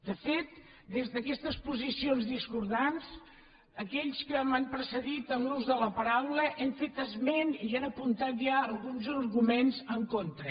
de fet des d’aquestes posicions discordants aquells que m’han precedit en l’ús de la paraula han fet esment i han apuntat ja alguns arguments en contra